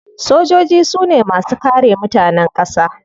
Sojoji su ne masu kare mutanen kasa.